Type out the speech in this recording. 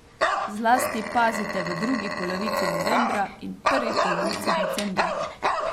Zlasti pazite v drugi polovici novembra in prvi polovici decembra.